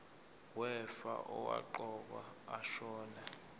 wefa owaqokwa ashona